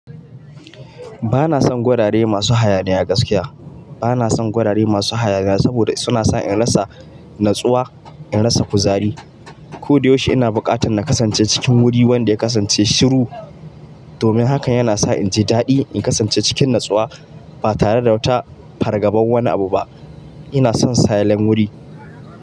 Ba na son gurare masu hayaniya gaskiya. Ba na son gwaraye masu hayaniya saboda suna sa in rasa natsuwa, in rasa kuzari. Ko da yaushe ina buƙatar na kasance cikin wuri wanda ya kasance shiru. Domin hakan yana sa in ji daɗi in kasance cikin natsuwa ba tare da wata fargabar wani abu ba. Ina son silent wuri.